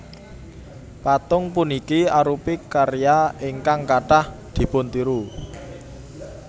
Patung puniki arupi karya ingkang kathah dipuntiru